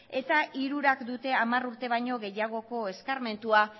eta hirurak dute hamar urte baino gehiagoko eskarmentua